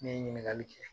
Ne ye ɲininkali kɛ